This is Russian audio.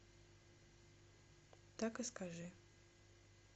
так и скажи